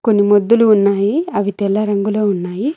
కొన్ని ముద్దులు ఉన్నాయి అవి తెల రంగులో ఉన్నాయి.